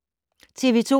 TV 2